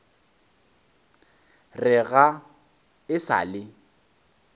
re ga e sa le